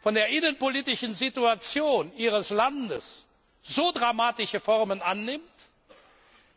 von der innenpolitischen Situation ihres Landes so dramatische Formen annimmt,